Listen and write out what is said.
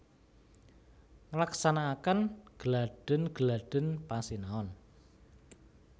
Nglaksanakaken gladhen gladhen pasinaon